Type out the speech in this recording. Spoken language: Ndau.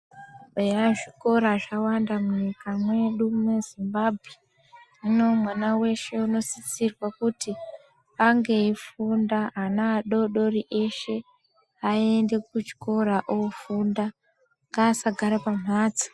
Eya, zvikora zvawanda munyika mwedu mweZimbabwe, hino mwana weshe unosisirwa kuti ange eyifunda ,anaadodori eshe ayende kuchikora ofunda ,ngaasa gara pamhatso.